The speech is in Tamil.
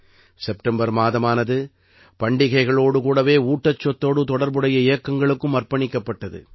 செப்டம்பர் மாதமானது பண்டிகைகளோடு கூடவே ஊட்டச்சத்தோடு தொடர்புடைய இயக்கங்களுக்கும் அர்ப்பணிக்கப்பட்டது